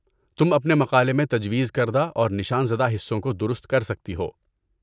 تم اپنے مقالے میں تجویز کردہ اور نشان زدہ حصوں کو درست کرسکتی ہو۔